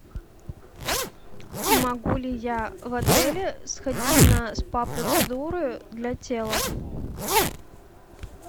могу ли я в отеле сходить на спа процедуры для тела